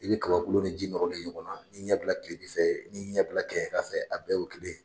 I be kabakolo ni ji nɔrɔlen ye ɲɔgɔn na. i ɲɛ bila kilebi fɛ, ii ɲɛ bila kɛɲɛka fɛ a bɛɛ ye kelen.